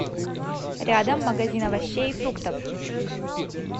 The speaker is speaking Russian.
рядом магазин овощей и фруктов